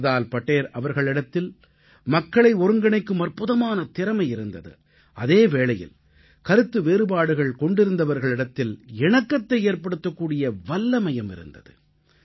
சர்தார் படேல் அவர்களிடத்தில் மக்களை ஒருங்கிணைக்கும் அற்புதமான திறமை இருந்தது அதே வேளையில் கருத்து வேறுபாடுகள் கொண்டிருந்தவர்களிடத்தில் இணக்கத்தை ஏற்ப்படுத்தக்கூடிய வல்லமையும் இருந்தது